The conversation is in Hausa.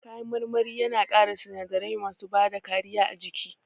Kayan marmari yana ƙara sinadarai masu bada kariya a jiki